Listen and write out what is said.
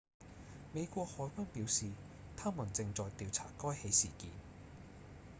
美國海軍表示他們正在調查該起事件